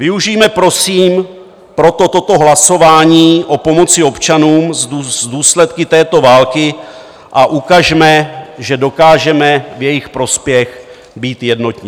Využijme prosím proto toto hlasování o pomoci občanům s důsledky této války a ukažme, že dokážeme v jejich prospěch být jednotní.